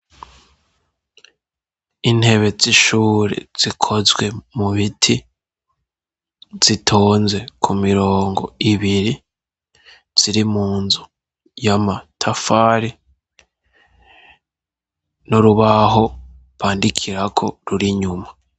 Intebe zishure zikozwe mu miti zitonze ku mirongo ibiri ziri mu nzu y'amatafare no rubaho bandikirako ruri inyuma.